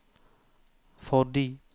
fordi